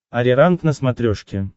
ариранг на смотрешке